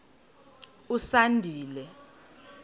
usandile